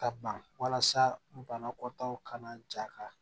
Ka ban walasa banakɔtaw kana ja ka